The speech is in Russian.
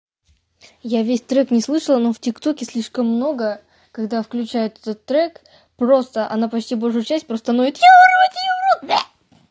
я весь трек не слышала но в тиктоке слишком много когда включает этот трек просто она почти большую часть просто ноет я урод я урод бэ